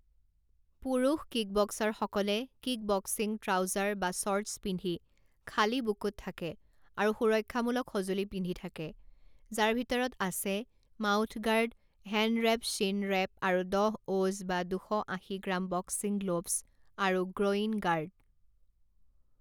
পুৰুষ কিকবক্সাৰসকলে kickboxing trouser বা শ্বৰ্টছ পিন্ধি খালী বুকুত থাকে আৰু সুৰক্ষা মূলক সঁজুলি পিন্ধি থাকে যাৰ ভিতৰত আছে mouthguard hand wrap shin wrap আৰু দহ অ'জ বা দুশ আশী গ্ৰাম বক্সিং গ্লোভচ আৰু গ্ৰৌইন গাৰ্ড।